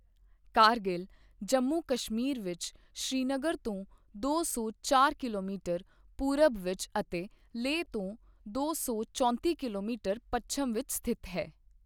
ਕਾਰਗਿਲ ਜੰਮੂ ਕਸ਼ਮੀਰ ਵਿੱਚ ਸ੍ਰੀਨਗਰ ਤੋਂ ਦੋ ਸੌ ਚਾਰ ਕਿਲੋਮੀਟਰ ਪੂਰਬ ਵਿੱਚ ਅਤੇ ਲੇਹ ਤੋਂ ਦੋ ਸੌ ਚੌਂਤੀ ਕਿਲੋਮੀਟਰ ਪੱਛਮ ਵਿੱਚ ਸਥਿਤ ਹੈ।